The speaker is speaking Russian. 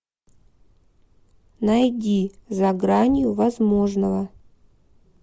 найди за гранью возможного